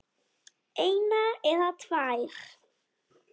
eina eða tvær.